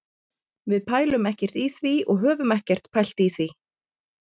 Við pælum ekkert í því og höfum ekkert pælt í því.